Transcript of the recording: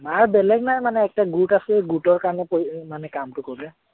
মাৰ বেলেগ নাই মানে গোট আছে মানে গোটৰ কাৰণে কামটো কৰে।